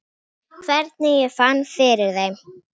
Þarna er visst flæði.